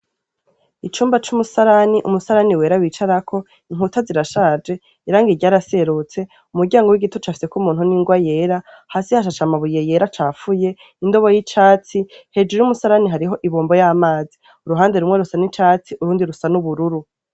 Icumba c'umusarana, umusarani wera bicarako inkuta zirashaje irangi ryaraserutse umuryango w'igiti ucafyeko umuntu n'ingwa yera hasi hashashe amabuye yera acafuye indobo yicatsi hejuru y'umusarani hariho ibombo yamazi, uruhande rumwe rusa nicatsi urundi rusa n'ubururu.